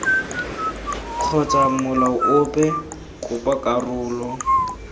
kgotsa molao ope kopa karolo